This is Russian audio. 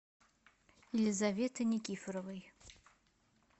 елизаветой никифоровой